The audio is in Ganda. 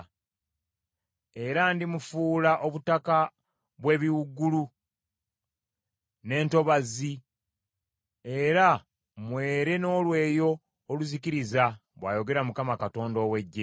“Era ndimufuula obutaka bw’ebiwuugulu, n’entobazzi era mwere n’olweyo oluzikiriza,” bw’ayogera Mukama Katonda ow’Eggye.